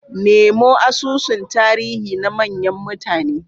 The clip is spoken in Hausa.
Nemo asusun tarihi na manyan mutane.